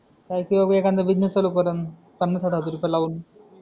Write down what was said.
काय किंवा एखादा बिजनेस चालू करेल पन्नास साठ हजार रुपये लावून